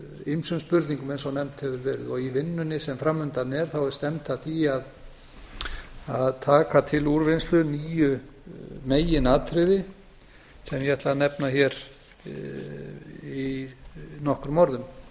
ýmsum spurningum eins og nefnt hefur verið og í vinnunni sem fram undan er þá er stefnt að því að taka til úrvinnslu níu meginatriði sem ég ætla að nefna hér í nokkrum orðum